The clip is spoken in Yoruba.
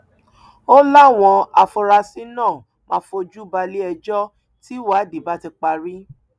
ó láwọn afurasí náà máa fojú balẹẹjọ tìwádìí bá ti parí